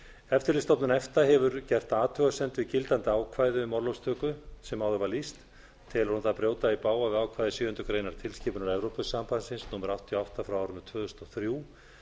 eftirlitsstofnun efta hefur gert athugasemd við gildandi ákvæði um orlofstöku sem áður var lýst telur hún það brjóta í bága við ákvæði sjöundu grein tilskipunar evrópusambandsins númer áttatíu og átta tvö þúsund og þrjú